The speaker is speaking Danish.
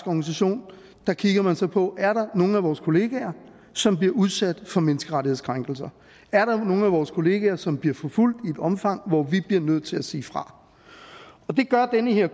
organisation kigger man så på er der nogle af vores kollegaer som bliver udsat for menneskerettighedskrænkelser er der nogle af vores kollegaer som bliver forfulgt i et omfang hvor vi bliver nødt til at sige fra det gør den her